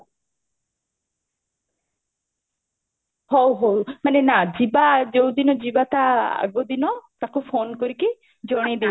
ହଉ ହଉ ମାନେ ନା ଯିବା ଯୋଉ ଦିନ ଯିବା ତା ଆଗ ଦିନ ତାକୁ ଫୋନେ କରିକି ଜଣେଇ ଦଉଥିବୁ